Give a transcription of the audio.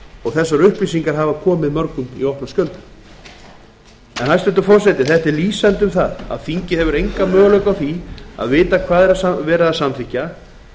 og þessar upplýsingar hafa komið mörgum í opna skjöldu þetta er lýsandi fyrir það að þingið hefur enga möguleika á því að vita hvað er verið að samþykkja